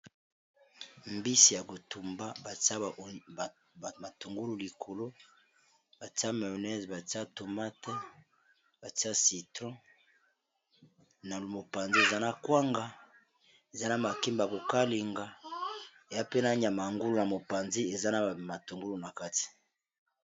Mbisi ya kotumba a bamatungulu likolo batia maonese batia tomate batia citron na mopanzi eza na kwanga eza na makimba kokalinga ya pena niamaangulu na mopanzi eza na matungulu na kati